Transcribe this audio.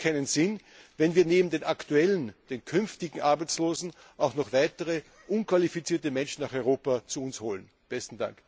Es hat doch keinen Sinn, wenn wir neben den aktuellen und den künftigen Arbeitslosen auch noch weitere unqualifizierte Menschen zu uns nach Europa holen.